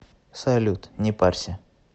салют не парься